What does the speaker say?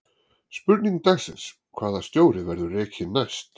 Spurning dagsins: Hvaða stjóri verður rekinn næst?